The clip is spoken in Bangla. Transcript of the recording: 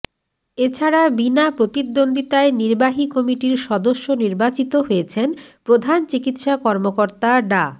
এ ছাড়া বিনাপ্রতিদ্বন্দ্বিতায় নির্বাহী কমিটির সদস্য নির্বাচিত হয়েছেন প্রধান চিকিৎসা কর্মকর্তা ডা